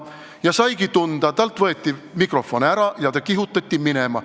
" Ja ta saigi tunda: talt võeti mikrofon ära ja ta kihutati minema.